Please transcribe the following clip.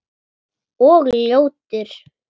Og ljótur.